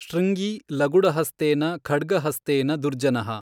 ಶೃಙ್ಗೀ ಲಗುಡಹಸ್ತೇನ ಖಡ್ಗಹಸ್ತೇನ ದುರ್ಜನಃ।